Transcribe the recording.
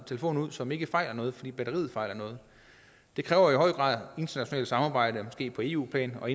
telefon ud som ikke fejler noget bare fordi batteriet fejler noget det kræver i høj grad internationalt samarbejde måske på eu plan og